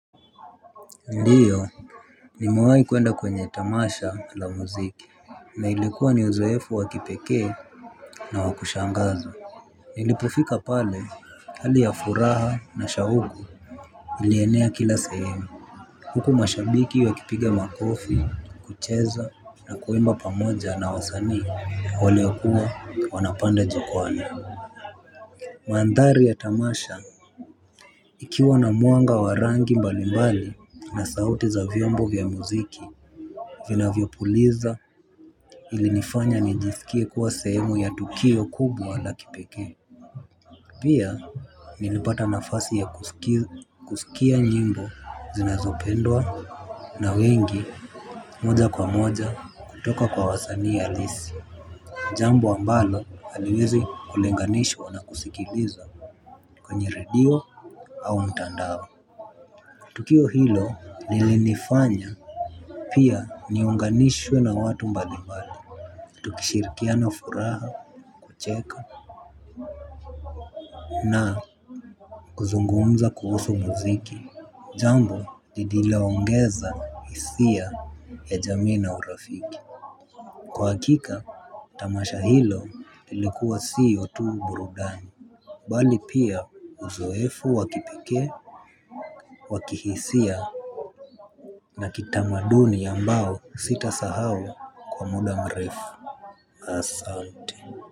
Ndiyo. Nimewai kuenda kwenye tamasha la muziki. Na ilikuwa ni uzoefu wa kipekee na wakushangaza. Nilipofika pale hali ya furaha na shauku ilienea kila sehemu. Huku mashabiki wakipiga makofi kucheza na kuimba pamoja na wasanii waliokuwa wanapanda jukwani. Mandhari ya tamasha ikiwa na mwanga wa rangi mbalimbali na sauti za vyombo vya muziki vinavyopuliza ilinifanya nijisikie kuwa sehemu ya tukio kubwa la kipekee. Pia nilipata nafasi ya kusikia nyimbo zinazopendwa na wengi moja kwa moja kutoka kwa wasanii halisi. Jambo ambalo haliwezi kulinganishwa na kusikiliza kwenye redio au mtandao. Tukio hilo lilinifanya pia niunganishwe na watu mbalimali. Tukishirikiana furaha kucheka na kuzungumza kuhusu muziki. Jambo lililoongeza hisia ya jamii na urafiki. Kwa hakika tamasha hilo ilikuwa siyo tu burudani bali pia uzoefu wa kipekee wa kihisia na kitamaduni ambao sitasahau kwa muda mrefu. Asante.